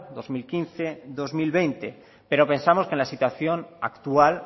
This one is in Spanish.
dos mil quince dos mil veinte pero pensamos que en la situación actual